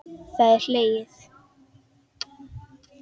Það er hlegið.